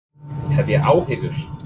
Hef ég áhyggjur?